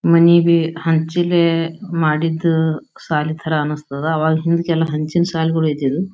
ಮನಿಗೆ ಹಂಚಿದ್ ಮಾಡಿದ್ ಸಾಲ್ ತರ ಅನ್ಸ್ತವ ಅವಾಗ್ ಮುಂಚೆಲ್ಲ ಹಂಚಿನ್ ಸಾಲ್ಗಳೇ ಇದ್ದಿದು.